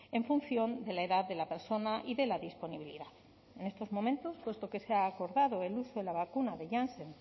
en función de la edad de la persona y de la disponibilidad en estos momentos puesto que se ha acordado el uso de la vacuna de jansen